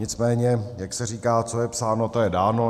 Nicméně jak se říká, co je psáno, to je dáno.